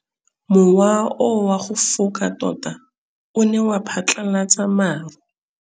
Mowa o wa go foka tota o ne wa phatlalatsa maru.